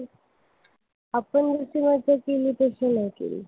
आपण इथे मजा केली तशी नाही केली.